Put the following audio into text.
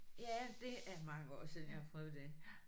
Ja det er mange år siden jeg har prøvet det